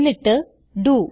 എന്നിട്ട് ഡോ